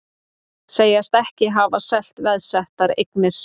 Segjast ekki hafa selt veðsettar eignir